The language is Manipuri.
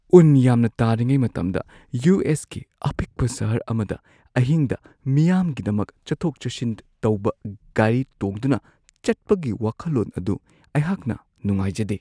ꯎꯟ ꯌꯥꯝꯅ ꯇꯥꯔꯤꯉꯩ ꯃꯇꯝꯗ ꯌꯨ.ꯑꯦꯁ.ꯀꯤ ꯑꯄꯤꯛꯄ ꯁꯍꯔ ꯑꯃꯗ ꯑꯍꯤꯡꯗ ꯃꯤꯌꯥꯝꯒꯤꯗꯃꯛ ꯆꯠꯊꯣꯛ-ꯆꯠꯁꯤꯟ ꯇꯧꯕ ꯒꯥꯔꯤ ꯇꯣꯡꯗꯨꯅ ꯆꯠꯄꯒꯤ ꯋꯥꯈꯜꯂꯣꯟ ꯑꯗꯨ ꯑꯩꯍꯥꯛꯅ ꯅꯨꯡꯉꯥꯏꯖꯗꯦ꯫